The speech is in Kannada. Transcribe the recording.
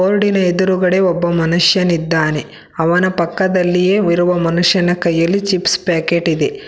ಬೋರ್ಡಿ ನ ಎದ್ರುಗಡೆ ಒಬ್ಬ ಮನುಷ್ಯನಿದ್ದಾನೆ ಅವನ ಪಕ್ಕದಲ್ಲಿಯೇ ಇರುವ ಮನುಷ್ಯನ ಕೈಯಲ್ಲಿ ಚಿಪ್ಸ್ ಪ್ಯಾಕೆಟ್ ಇದೆ.